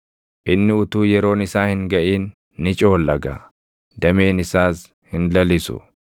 Inni utuu yeroon isaa hin gaʼin ni coollaga; dameen isaas hin lalisu.